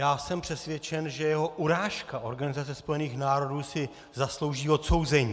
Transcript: Já jsem přesvědčen, že jeho urážka Organizace spojených národů si zaslouží odsouzení.